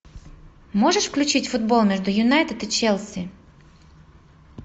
можешь включить футбол между юнайтед и челси